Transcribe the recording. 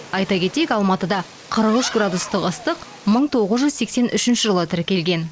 айта кетейік алматыда қырық үш градустық ыстық мың тоғыз жүз сексен үшінші жылы тіркелген